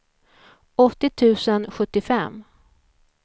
åttio tusen sjuttiofem